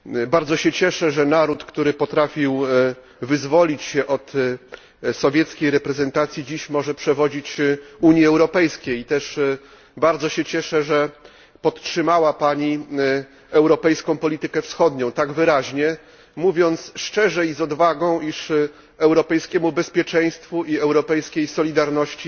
Bardzo się cieszę, że naród, który potrafił wyzwolić się od sowieckiej reprezentacji, może dziś przewodzić Unii Europejskiej, i cieszę się również, że podtrzymała Pani europejską politykę wschodnią tak wyraźnie, mówiąc szczerze i z odwagą, iż europejskiemu bezpieczeństwu i europejskiej solidarności